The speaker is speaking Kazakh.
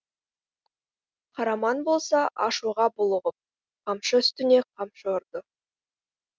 қараман болса ашуға булығып қамшы үстіне қамшы ұрды